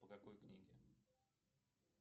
по какой книге